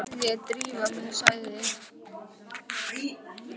Nú verð ég að drífa mig, sagði